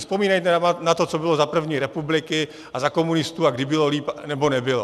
Vzpomínejte na to, co bylo za první republiky a za komunistů a kdy bylo lépe, nebo nebylo.